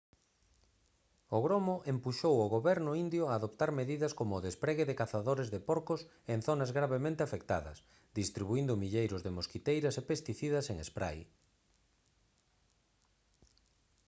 o gromo empuxou ao goberno indio a adoptar medidas como o despregue de cazadores de porcos en zonas gravemente afectadas distribuíndo milleiros de mosquiteiras e pesticidas en spray